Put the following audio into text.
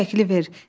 Bu şəkli ver.